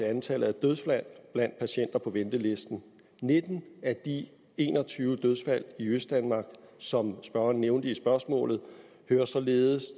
antallet af dødsfald blandt patienter på ventelisten nitten af de en og tyve dødsfald i østdanmark som spørgeren nævnte i spørgsmålet hører således